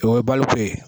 O ye baliku ye